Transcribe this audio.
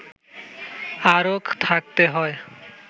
আরও থাকতে হয়